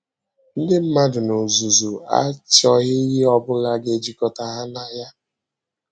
Ndị mmadụ n’ozúzù achọghị ihe ọ bụla ga-ejikọ̀tà ha na ya.